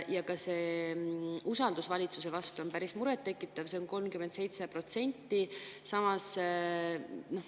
Ja ka usaldus valitsuse vastu on päris muret tekitav, see on 37%.